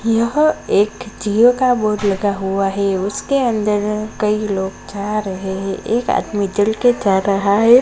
यहां एक जिओ का बोर्ड लगा हुआ हैं उसके अन्दर कई लोग जा रहे है एक आदमी चल के जा रहा हैं।